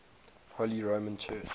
holy roman church